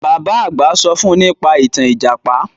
Bàbá àgbà sọ fún nípa ìtàn Ìjàpá